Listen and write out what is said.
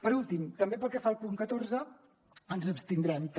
per últim pel que fa al punt catorze ens abstindrem també